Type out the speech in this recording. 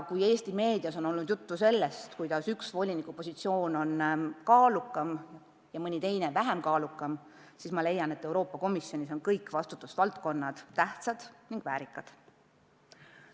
Eesti meedias on olnud juttu, et üks volinikupositsioon on kaalukam kui mõni teine, mina leian, et Euroopa Komisjonis on kõik vastutusvaldkonnad tähtsad ning väärikad.